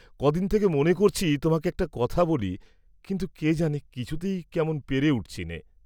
কদিন থেকে মনে করছি তোমাকে একটি কথা বলি, কিন্তু কেজানে কিছুতেই কেমন পেরে উঠছিনে।